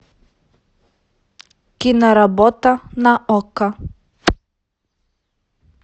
киноработа на окко